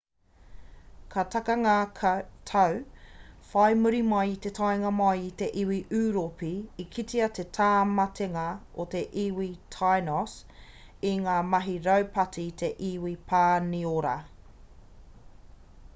ka taka ngā tau whai muri mai i te taenga mai a te iwi ūropi i kitea te tāmatenga o te iwi tainos i ngā mahi raupati a te iwi pāniora